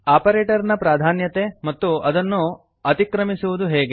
operator ನ ಪ್ರಾಧಾನ್ಯತೆ ಮತ್ತು ಅದನ್ನು ಅತಿಕ್ರಮಿಸುವುದು ಹೇಗೆ